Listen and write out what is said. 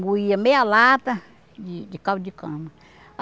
moía meia lata de caldo de cana.